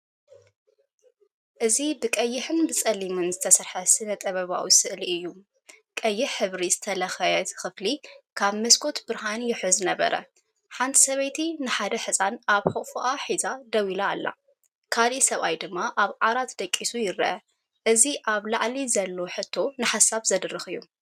እዚ ብቀይሕን ጸሊምን ዝተሰርሐ ስነ-ጥበባዊ ስእሊ እዩ። ቀይሕ ሕብሪ ዝተለኽየት ክፍሊ፡ካብ መስኮት ብርሃን ይውሕዝ ነበረ። ሓንቲ ሰበይቲ ንሓደ ህጻን ኣብ ሕቑፉ ሒዛ ደው ኢላ፡ካልእ ሰብኣይ ድማ ኣብ ዓራት ደቂሱ ይርአ። እዚ ኣብ ላዕሊ ዘሎ ሕቶ ንሓሳብ ዝድርኽ እዩ።